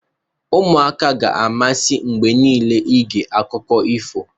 ụmụaka ga-amasị mgbe niile ige akụkọ ifo